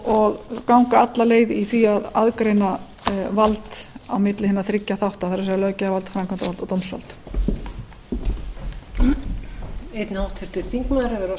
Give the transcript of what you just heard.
og ganga alla leið í því að aðgreina vald á milli hinna þriggja þátta það er löggjafarvald framkvæmdarvald og dómsvald